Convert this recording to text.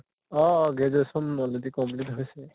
অʼ uh graduation already complete হৈছে।